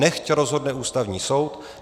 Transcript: Nechť rozhodne Ústavní soud.